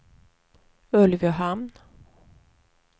Ulvöhamn